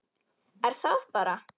Er það bara það?